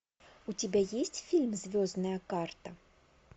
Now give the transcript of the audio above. у тебя есть фильм звездная карта